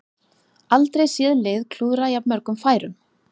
Aldrei séð lið klúðra jafnmörgum færum